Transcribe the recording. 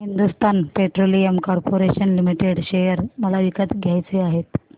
Hindustan petroleum corporation limited share मला विकत घ्यायचे आहेत